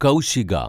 Kaushiga